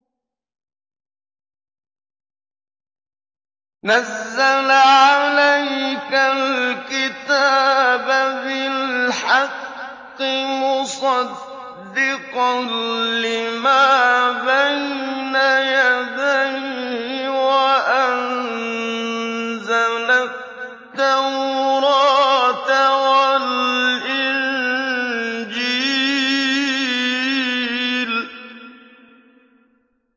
نَزَّلَ عَلَيْكَ الْكِتَابَ بِالْحَقِّ مُصَدِّقًا لِّمَا بَيْنَ يَدَيْهِ وَأَنزَلَ التَّوْرَاةَ وَالْإِنجِيلَ